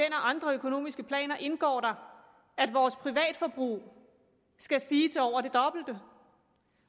andre økonomiske planer indgår der at vores privatforbrug skal stige til over det dobbelte